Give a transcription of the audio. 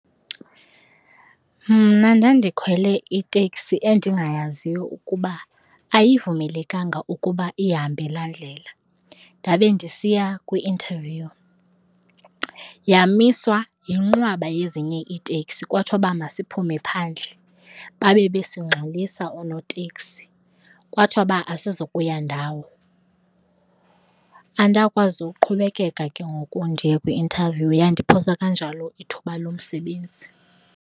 Mna ndandikhwele iteksi endingayaziyo ukuba ayivumelekanga ukuba ihambe laa ndlela ndabe ndisiya kwi-interview. Yamiswa yinqwaba yezinye iitekisi kwathiwa uba masiphume phandle, babe besingxolisa oonoteksi kwathiwa uba asizukuya ndawo. Andakwazi uqhubekeka ke ngoku ndiye kwi-interview, yandiphosa kanjalo ithuba lomsebenzi.